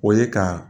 O ye ka